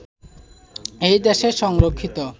এই দেশের সংরক্ষিত